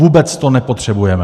Vůbec to nepotřebujeme.